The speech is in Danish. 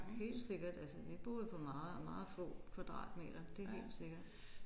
Helt sikkert altså vi boede på meget meget få kvadratmeter det er helt sikkert